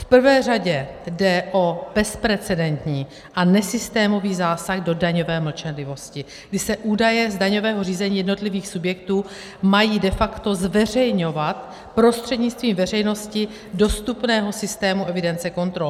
V prvé řadě jde o bezprecedentní a nesystémový zásah do daňové mlčenlivosti, kdy se údaje z daňového řízení jednotlivých subjektů mají de facto zveřejňovat prostřednictvím veřejnosti dostupného systému evidence kontrol.